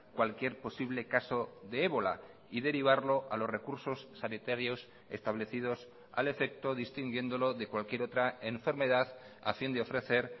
cualquier posible caso de ébola y derivarlo a los recursos sanitarios establecidos al efecto distinguiéndolo de cualquier otra enfermedad a fin de ofrecer